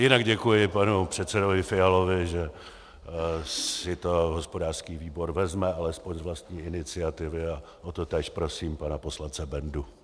Jinak děkuji panu předsedovi Fialovi, že si to hospodářský výbor vezme alespoň z vlastní iniciativy, a o to též prosím pana poslance Bendu.